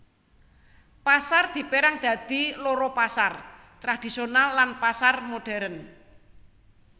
Pasar dipérang dadi loro pasar tradhisional lan pasar modhèrn